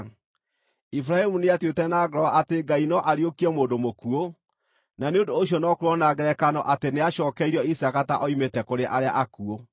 Iburahĩmu nĩatuĩte na ngoro atĩ Ngai no ariũkie mũndũ mũkuũ, na nĩ ũndũ ũcio no kwĩrwo na ngerekano atĩ nĩacookeirio Isaaka ta oimĩte kũrĩ arĩa akuũ.